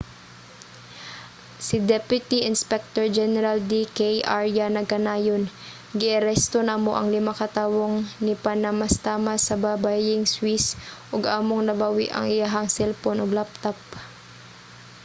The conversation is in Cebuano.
si deputy inspector general d k arya nagkanayon giaresto namo ang lima ka tawong nipanamastamas sa babayeng swiss ug among nabawi ang iyahang selpon ug laptop